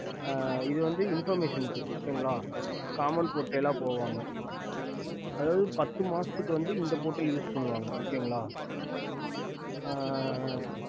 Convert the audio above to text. இது வந்து informestion okay commen portal வரும் அதாவது பாத்து மாசத்துக்கு இந்த portal use பண்ணுவாங்க